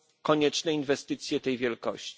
konieczne inwestycje tej wielkości.